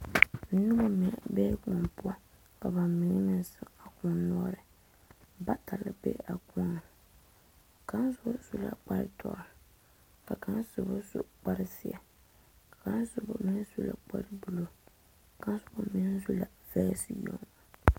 Noba mine bee kõɔ poɔ ka bamine meŋ zeŋ a kõɔ noɔre bata la be a kõɔ ka soba su la kpare doɔre ka kaŋ soba su kpare ziɛ ka soba meŋ su la kpare buluu kaŋ soba meŋ su la vaase yoŋ.